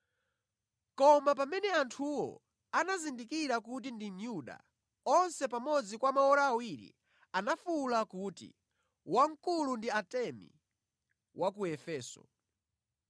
Koma pamene anthuwo anazindikira kuti ndi Myuda, onse pamodzi kwa maora awiri anafuwula kuti, “Wamkulu ndi Atemi wa ku Efeso!”